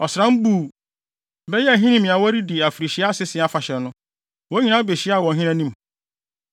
Ɔsram Bul (bɛyɛ Ahinime) a wɔredi afirihyia Asese Afahyɛ no, wɔn nyinaa behyiaa wɔ ɔhene anim.